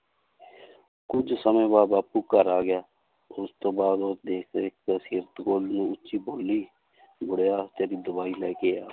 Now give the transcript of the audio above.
ਕੁੱਝ ਸਮੇਂ ਬਾਅਦ ਬਾਪੂ ਘਰ ਆ ਗਿਆ, ਉਸ ਤੋਂ ਬਾਅਦ ਉਹ ਨੂੰ ਉੱਚੀ ਬੋਲੀ ਬੁੜਿਆ ਤੇਰੀ ਦਵਾਈ ਲੈ ਕੇ ਆ